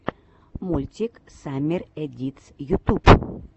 мультик саммер эдитс ютуб